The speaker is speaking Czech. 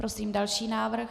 Prosím další návrh.